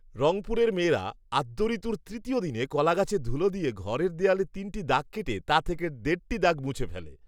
রংপুরের মেয়েরা আদ্যঋতুর তৃতীয় দিনে কলাগাছের ধুলা দিয়ে ঘরের দেয়ালে তিনটি দাগ কেটে তা থেকে দেড়টি দাগ মুছে ফেলে